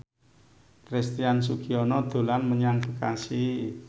Christian Sugiono dolan menyang Bekasi